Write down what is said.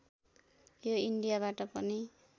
यो इन्डियाबाट पनि